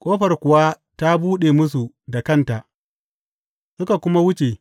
Ƙofar kuwa ta buɗe musu da kanta, suka kuma wuce.